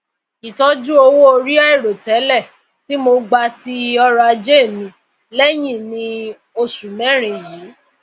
itọju owoori airotẹlẹ ti mo gba ti ọrọaje mi léyìn ní osù mérin yìí